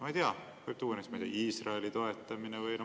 Ma ei tea, võib tuua näiteks Iisraeli toetamise.